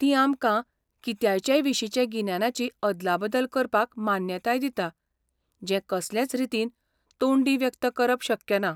ती आमकां कित्याचेयविशींचे गिन्यानाची अदलाबदल करपाक मान्यताय दिता जें कसलेच रीतीन तोंडी व्यक्त करप शक्य ना.